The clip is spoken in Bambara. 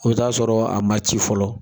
E be t'a sɔrɔ a ma ci fɔlɔ